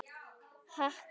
Haki getur átt við